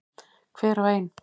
Hver og ein.